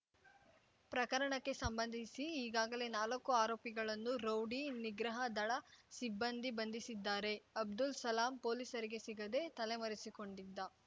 ಪ್ರಕರಣಕ್ಕೆ ಸಂಬಂಧಿಸಿ ಈಗಾಗಲೇ ನಾಲಕ್ಕು ಆರೋಪಿಗಳನ್ನು ರೌಡಿ ನಿಗ್ರಹ ದಳ ಸಿಬ್ಬಂದಿ ಬಂಧಿಸಿದ್ದಾರೆ ಅಬ್ದುಲ್ ಸಲಾಂ ಪೊಲೀಸರಿಗೆ ಸಿಗದೆ ತಲೆಮರೆಸಿಕೊಂಡಿದ್ದ